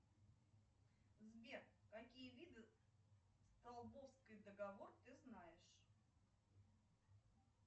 сбер какие виды столбовский договор ты знаешь